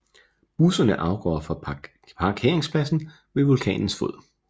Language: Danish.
Busserne afgår fra parkeringspladsen ved vulkanens fod